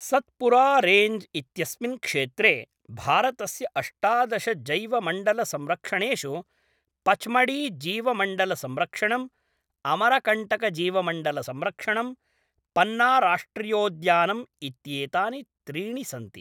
सत्पुरारेन्ज् इत्यस्मिन् क्षेत्रे भारतस्य अष्टादश जैवमण्डलसंरक्षणेषु, पचमढ़ीजीवमण्डलसंरक्षणं, अमरकण्टकजीवमण्डलसंरक्षणं, पन्नाराष्ट्रियोद्यानम् इत्येतानि त्रीणि सन्ति।